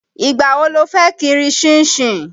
Ìgbà wo lo fẹ́ kiri ṣínṣin?